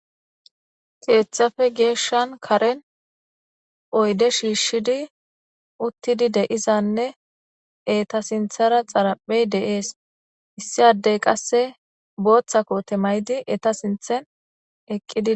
keeththafe geeshshan karen oyde shiishshidi uttidi deizanne eta sinthara xaraphey de7ees issi addey qasse booththa koote may7di eta sinthen eqqidi